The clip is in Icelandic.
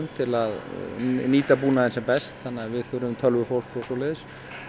til að nýta búnaðinn sem best þannig að við þurfum tölvufólk og svoleiðis